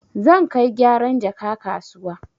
Zan kai gyaran jaka kasuwa.